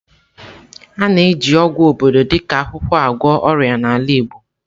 A na-eji ọgwụ obodo dị ka akwụkwọ agwọ ọrịa n'ala igbo.